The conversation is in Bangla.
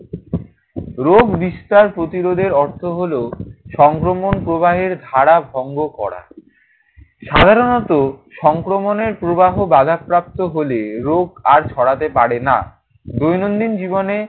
রোগ বিস্তার প্রতিরোধের অর্থ হলো সংক্রমণ প্রবাহের ঘরে ভঙ্গ করা। সাধারণত সংক্রমণের প্রবাহ বাধাপ্রাপ্ত হলে রোগ আর ছড়াতে পারে না। দৈনন্দিন জীবনে